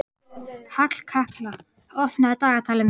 Hallkatla, opnaðu dagatalið mitt.